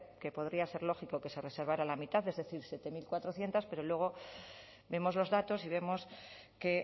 que podría ser lógico que se reservaba la mitad es decir siete mil cuatrocientos pero luego vemos los datos y vemos que